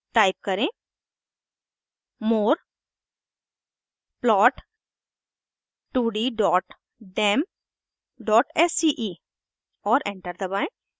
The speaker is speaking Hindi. टाइप करें more plot2ddemडेमsce और एंटर दबाएं